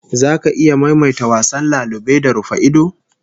Zaka iya maimaita wasan lalube da rufa-ido?